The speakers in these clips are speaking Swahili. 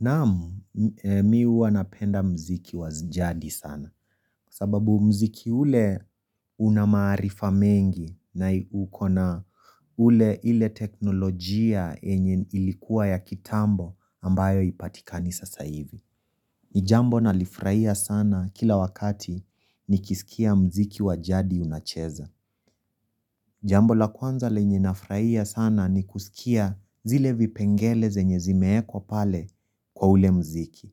Naam, mi huwa napenda muziki wa jadi sana. Kwa sababu muziki ule una maarifa mengi na uko na ule ile teknolojia yenye ilikuwa ya kitambo ambayo haipatikani sasa hivi. Ni jambo nalifurahia sana kila wakati nikisikia muziki wa jadi unacheza. Jambo la kwanza lenye nafurahia sana ni kusikia zile vipengele zenye zimeekwa pale kwa ule muziki.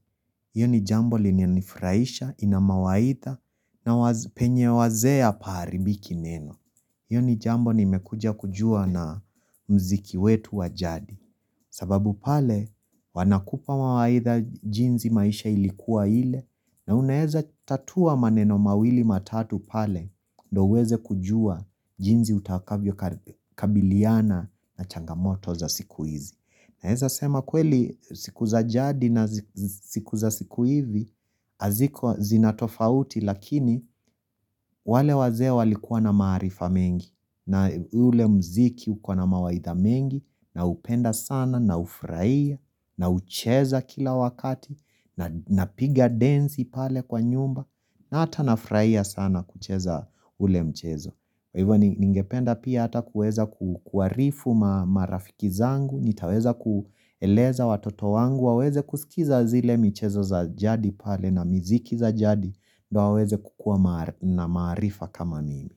Hiyo ni jambo lilinifurahisha, ina mawaidha na penye wazee hapaharibiki neno. Hiyo ni jambo nimekuja kujua na muziki wetu wa jadi. Sababu pale wanakupa mawaidha jinsi maisha ilikuwa ile na unaeza tatua maneno mawili matatu pale ndio uweze kujua jinsi utakavyokabiliana na changamoto za siku hizi. Naeza sema kweli siku za jadi na siku za siku hivi haziko zina tofauti lakini wale wazee walikuwa na maarifa mengi na ule muziki uko na mawaidha mengi naupenda sana naufurahia, naucheza kila wakati napiga densi pale kwa nyumba na hata nafurahia sana kucheza ule mchezo. Hivo ningependa pia hata kuweza kuarifu marafiki zangu, nitaweza kueleza watoto wangu, waweze kusikiza zile michezo za jadi pale na miziki za jadi, ndio waweze kukua na maarifa kama mimi.